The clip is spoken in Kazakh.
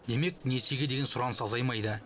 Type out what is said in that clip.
демек несиеге деген сұраныс азаймайды